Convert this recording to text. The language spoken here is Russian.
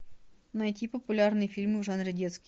найти популярные фильмы в жанре детский